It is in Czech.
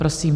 Prosím.